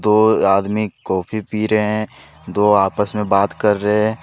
दो आदमी कॉफी पी रहे दो आपस में बात कर रहे हैं।